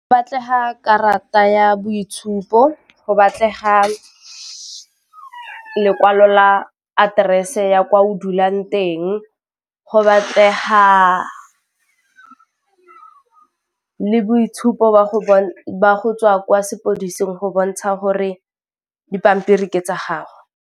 Batlega karata ya boitshupo, go batlega lekwalo la aterese ya kwa o dulang teng, go batlega le boitshupo jwa go tswa kwa sepodising go bontsha gore dipampiri ke tsa gago.